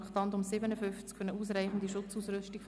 – Ich sehe keine Wortmeldungen.